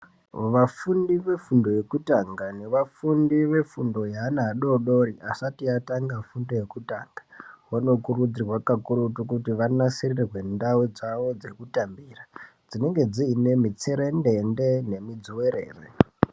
Vafundi vefundo yekutanga nevafundi vefundo yeana adodori asati atanga fundo yekutanga vanokurudzirwa kakurutu kuti vanasirirwe ndau dzawo dzekutambira dzinenge dzine mutserendende nemudzuwerere.